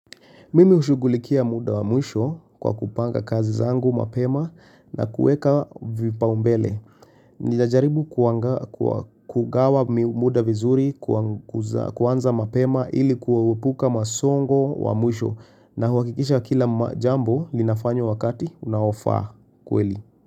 Mimi hushugulikia muda wa mwisho kwa kupanga kazi zangu mapema na kueka vipau mbele. Nijajaribu kugawa muda vizuri kuanza mapema ili kuepuka masongo wa mwisho na huhakikisha kila jambo linafanywa wakati unaofaa kweli.